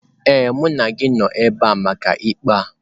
Ee, mụ na gị nọ ebe a maka ikpe a.